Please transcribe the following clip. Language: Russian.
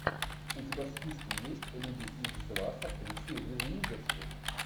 у тебя в списке есть люди икс два с актрисой риз уизерспун